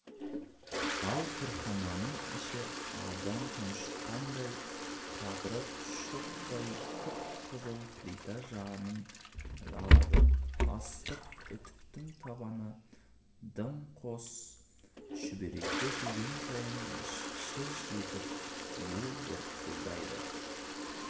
ал кірхананың іші адам тұншыққандай қапырық шоқтай қып-қызыл плита жалын атады ыстық үтіктің табаны дымқос шүберекке тиген сайын шыж етіп бу бұрқылдайды